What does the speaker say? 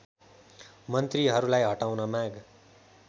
मन्त्रीहरूलाई हटाउन माग